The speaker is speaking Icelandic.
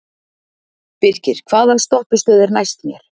Birkir, hvaða stoppistöð er næst mér?